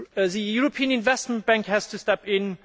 the European Investment Bank has to step in